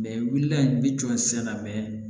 i wulila i bɛ jɔsi na mɛ